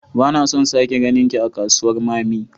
Bana son sake ganinki a kasuwar mammy